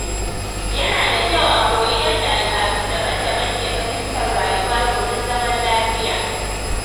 Yana da kyau a koyi yadda al’adu daban-daban ke fahimtar rayuwa domin zaman lafiya.